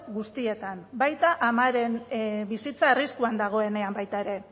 guztietan baita amaren bizitza arriskuan dagoenean baita ere